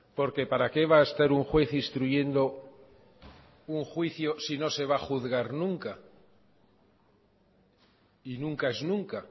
porque para qué va a estar un juez instruyendo un juicio si no se va a juzgar nunca y nunca es nunca